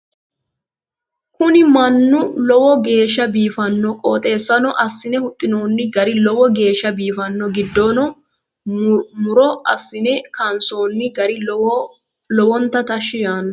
Kuni minu lowo geeshsho biifanno qooxeessasino assine huxxinoonni gari lowo geeshsha biifanno giddoonino muro assine kaansoonni gari lowonta tashshi yaanno